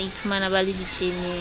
ba iphumang ba le ditleneng